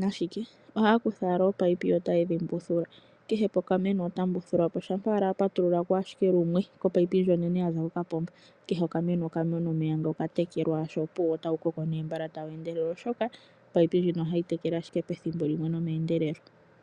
nashike, ohaya kutha owala oopaipi yo ota yedhi mbuthula kehe pokameno ota mbuthula po. Shampa owala a patulula ko lumwe kopaipi ndjo onene ya za ko ka pomba kehe oka meno oka mona omeya noka tekelwa osho, opuwo nota wu koko nee tawu endelele oshoka opaipi ndjino ohayi tekele ashike pethimbo limwe nomeendelelo.